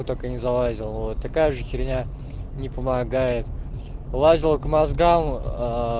только не залазил вот такая же херня не помогает лазил к мозгам